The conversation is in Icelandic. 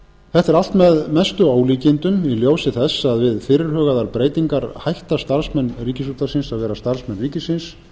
allt með mestu ólíkindum í ljósi þess að við fyrirhugaðar breytingar hætta starfsmenn ríkisútvarpsins að vera starfsmenn ríkisins